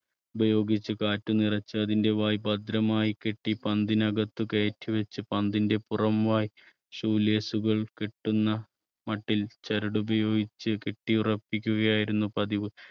ഉപയോഗിച്ച് കാറ്റ് നിറച്ച് അതിൻറെ വായ് ഭദ്രമായി കെട്ടി പന്തിനകത്ത് കയറ്റി വെച്ച് പന്തിന്റെ പുറം വായ് shoe lace കൾ കെട്ടുന്ന മട്ടിൽ ചരടുപയോഗിച്ച് കെട്ടി ഉറപ്പിക്കുക ആയിരുന്നു പതിവ്.